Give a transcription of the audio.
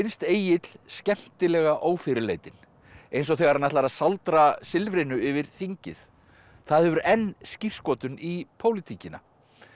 Egill skemmtilega ófyrirleitinn eins og þegar hann ætlar að sáldra silfrinu yfir þingið það hefur enn skírskotun í pólitíkina